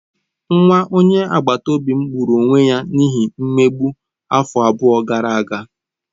Nwa onye agbata obi m gburu onwe ya n'ihi mmegbu afọ abụọ gara aga.